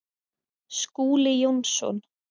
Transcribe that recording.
Skúli Jónsson